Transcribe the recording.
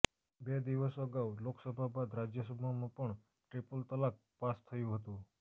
બે દિવસ અગાઉ લોકસભા બાદ રાજ્યસભામાં પણ ટ્રિપલ તલાક પાસ થયુ હતુ